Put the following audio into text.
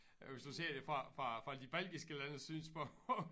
Hvis du ser det fra fra fra de baltiske landes synspunkt